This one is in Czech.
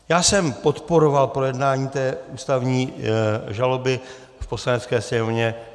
Já jsem podporoval projednání té ústavní žaloby v Poslanecké sněmovně.